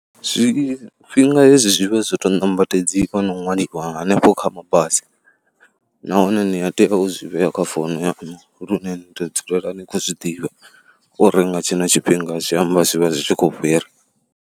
Zwifhinga hezwi zwi vha zwo to nambatedziwa ṅwaliwa hanefho kha mabasi nahone ni a tea u zwi vhea kha founu yaṋu lune ni tou dzulela ni khou zwi ḓivha uri nga tshino tshifhinga zwi amba zwi vha zwi khou fhira.